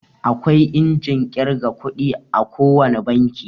Akwai injin ƙirga ƙudi a ko wane banki.